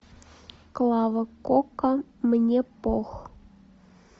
клава кока мне пох